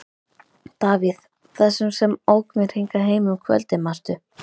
Davíð, þessum sem ók mér hingað heim um kvöldið, manstu?